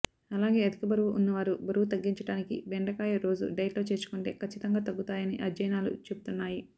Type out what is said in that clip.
అలాగే అధిక బరువు ఉన్నవారు బరువు తగ్గించడానికి బెండకాయ రోజు డైట్ లో చేర్చుకుంటే కచ్చితంగా తగ్గుతాయని అధ్యయనాలు చెబుతున్నాయి